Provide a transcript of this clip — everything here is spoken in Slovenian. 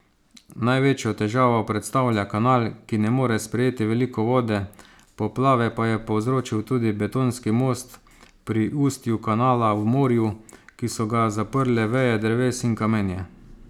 Največjo težavo predstavlja kanal, ki ne more sprejeti veliko vode, poplave pa je povzročil tudi betonski most pri ustju kanala v morju, ki so ga zaprle veje dreves in kamenje.